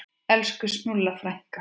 Elsku Snúlla frænka.